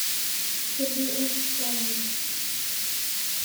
сергей ростиславович